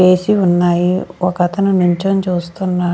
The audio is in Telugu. వేసి ఉన్నాయి ఒకతను నీల్చొని చూస్తున్నాడు.